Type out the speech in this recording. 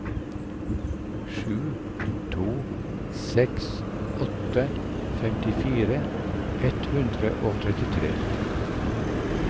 sju to seks åtte femtifire ett hundre og trettitre